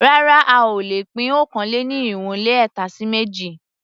Rárá a ò lè pín okòó-lé-ní-irínwó-lé-ẹ̀ta sí méjì.